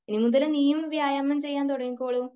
ഇനിമുതൽ നീയും വ്യായാമം ചെയ്യാൻ തുടങ്ങിക്കോളൂ .